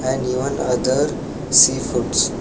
And even other sea foods.